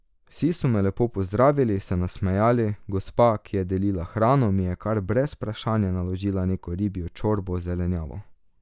Vsi so me lepo pozdravili, se nasmejali, gospa, ki je delila hrano, mi je kar brez vprašanja naložila neko ribjo čorbo z zelenjavo.